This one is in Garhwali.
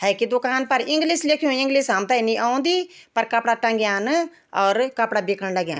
हेन्की दूकान पर इंग्लिश लिख्युं इंग्लिश हमथे नी औंदी पर कपड़ा टंग्यान और कपड़ा बिकन लग्याँ।